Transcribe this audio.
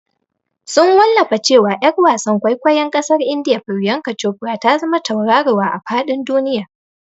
Sun Wallafa cewa Yar wasan kwaikwayon kasar India Priyanka Chopra ta zama tauraruwa a fadin duniya.